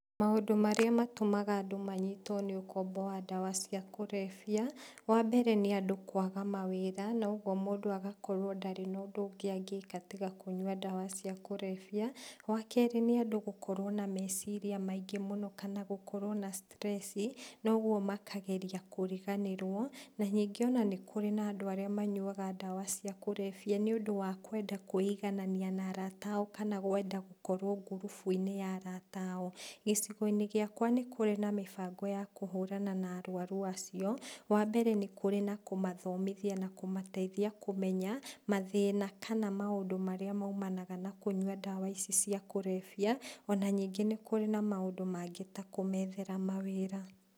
Maũndũ marĩa matũmaga andũ manyitwo nĩ ũkombo wa ndawa cia kũrebia, wa mbere nĩandũ kwaga mawĩra, na ũguo mũndũ agakorwo ndarĩ na ũndũ ũngĩ angĩka tiga kũnyua ndawa cia kũrebia, wakerĩ nĩ andũ gũkorwo na meciria maingĩ mũno, kana gũkorwo na stress noguo makageria kũriganĩrwo, na rĩngĩ ona nĩkũrĩ na andũ arĩa manyuaga ndawa cia kũrebia nĩ ũndũ wa kwenda kwĩiganania na arata ao, kana kwenda gũkorwo ngurubuinĩ ya arata ao. Gĩcigoinĩ gĩakwa nĩkũrĩ na mĩbango ya kũhũrana na arwaru acio, wambere nĩkũrĩ na kũmathomithia na kũmateithia kũmenya, mathĩna kana maũndũ marĩa maumanaga na kũnyua ndawa ici cia kũrebia, ona ningĩ nĩkũrĩ na maũndũ mangĩ ta kũmethera mawĩra.